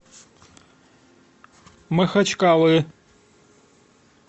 махачкалы